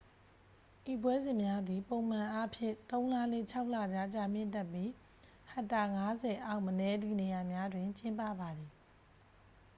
ဤပွဲစဉ်များသည် ပုံမှန်အားဖြင့် သုံး လနှင့် ခြောက် လကြား ကြာမြင့်တတ်ပြီး ဟက်တာ 50 အောက် မနည်းသည့် နေရာများတွင် ကျင်းပပါသည်